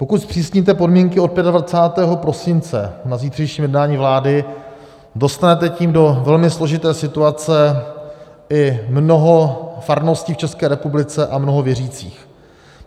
Pokud zpřísníte podmínky od 25. prosince na zítřejším jednání vlády, dostanete tím do velmi složité situace i mnoho farností v České republice a mnoho věřících.